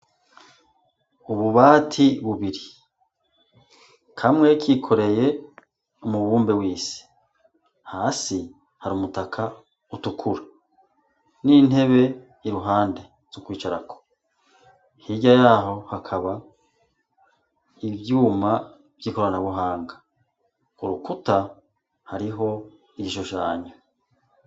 Ububati bubiri kamwe kikoreye umubumbe wise hasi hari umutaka utukura n'intebe iruhande zi ukwicarako hirya yaho hakaba ivyuma vy'ikoranabuhanga urukuta hariho ijo janyu.